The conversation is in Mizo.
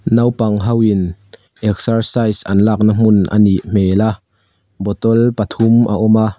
naupang hoin exercise an lakna hmun a nih hmel a bottle pathum a awm a.